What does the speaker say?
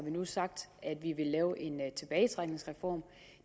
vi nu sagt at vi vil lave en tilbagetrækningsreform